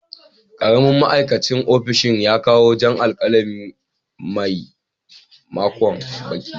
Karamin ma'aikacin ofishin ya kawo jan alkalami a maimakon baƙi.